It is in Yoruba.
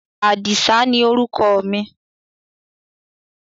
Àdìsá ni orúkọ mi.